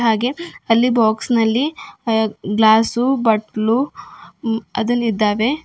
ಹಾಗೆ ಅಲ್ಲಿ ಬಾಕ್ಸ್ ನಲ್ಲಿ ಗ್ಲಾಸು ಬಟ್ಲು ಅದುನ್ ಇದ್ದಾವೆ.